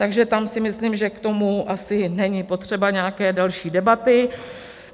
Takže tam si myslím, že k tomu asi není potřeba nějaké delší debaty.